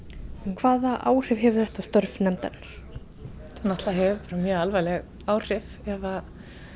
hvaða áhrif hefur þetta á störf nefndarinnar þetta náttúrulega hefur bara mjög alvarleg áhrif ef